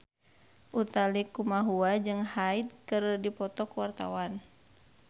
Utha Likumahua jeung Hyde keur dipoto ku wartawan